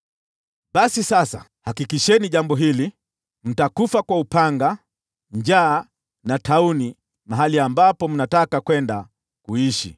Basi sasa, hakikisheni jambo hili: Mtakufa kwa upanga, njaa na tauni mahali ambapo mnataka kwenda kuishi.”